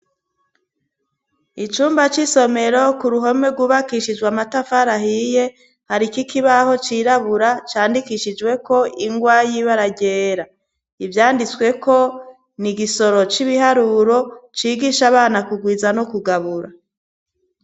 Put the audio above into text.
Icumba c'isomero ku ruhome rwubakishijwe amatafarahiye hari iko ikibaho cirabura candikishijweko ingwa yiba aragyera ivyanditsweko ni igisoro c'ibiharuro cigisha abana kugwiza no kugabura.